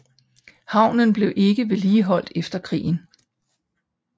Havnen blev ikke vedligeholdt efter krigen